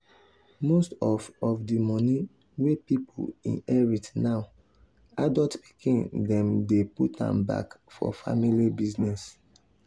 most of of the money wey pipo inherit now adult pikin dem dey put am back for family business.